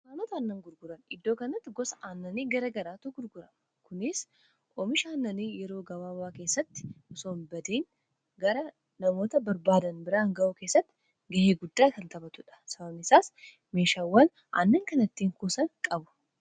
Naamoota aannan gurguran. Iddoo kanatti gosa aannanii garaa garaatu gurgurama. Kunis oomisha aannanii yeroo gabaabaa keessatti osoo hin badiin gara namoota barbaadan biraan ga'uu keessatti ga'ee guddaa kan taphatuudha. Sababni isaas meeshaawwan aannan kana ittiin kuusan qabu.